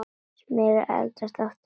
Smyrjið eldfast mót með olíu.